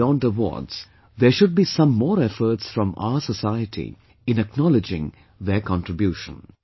Beyond awards, there should be some more efforts from our society in acknowledging their contribution